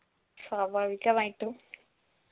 സ്വാഭാവികമായിട്ടും